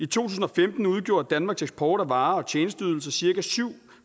tusind og femten udgjorde danmarks eksport af varer og tjenesteydelser cirka syv